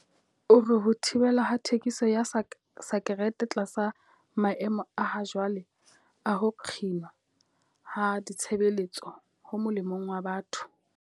O re ho thibelwa ha thekiso ya sakerete tlasa maemo a hajwale a ho kginwa ha ditshebeletso ho molemong wa batho.